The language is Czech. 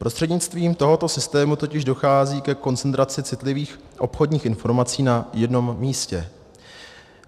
Prostřednictvím tohoto systému totiž dochází ke koncentraci citlivých obchodních informací na jednom místě.